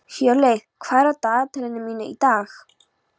Hjörleif, hvað er á dagatalinu mínu í dag?